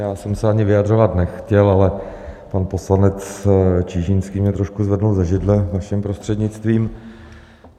Já jsem se ani vyjadřovat nechtěl, ale pan poslanec Čižinský mě trošku zvedl ze židle, vaším prostřednictvím.